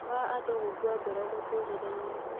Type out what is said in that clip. Wa andũ gũkua ngoro mũtũrĩre-inĩ